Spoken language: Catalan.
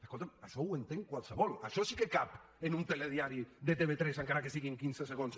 escolta això ho entén qualsevol això sí que cap en un telediari de tv3 encara que siguin quinze segons